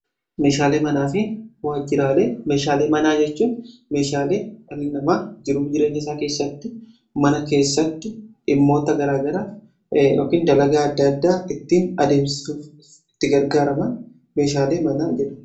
meeshaalee manaa fi waajjiraalee, meeshaalee manaa jechuun meeshaalee dhalli namaa jiruu jireenya isaa keessatti mana keessatti dhimmoota garaagaraaf dalagaa adda addaa ittiin adeemsuuf itti gargaaraman meeshaalee manaa jedhamu.